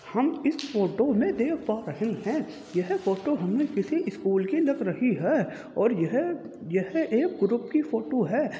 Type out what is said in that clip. हम इस फोटो में देख पा रहे हैं। यह फोटो हमें किसी स्कूल की लग रही है और यह यह एक ग्रुप की फोटो है।